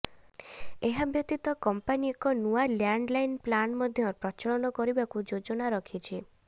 ଏହା ବ୍ୟତୀତ କଂପାନି ଏକ ନୂଆ ଲ୍ୟାଣ୍ଡ୍ଲାଇନ୍ ପ୍ଲାନ୍ ମଧ୍ୟ ପ୍ରଚଳନ କରିବାକୁ ଯୋଜନା ରଖିଛି